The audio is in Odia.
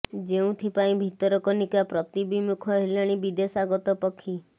ଯେଉଁଥି ପାଇଁ ଭିତରକନିକା ପ୍ରତି ବିମୁଖ ହେଲେଣି ବିଦେଶାଗତ ପକ୍ଷୀ